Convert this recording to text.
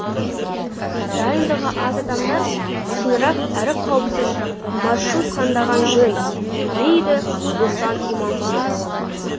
дайындығы аз адамдар ұзынырақ әрі қауіпсіз маршрут таңдағаны жөн дейді руслан иманқұлов